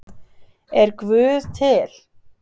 Er Guð til?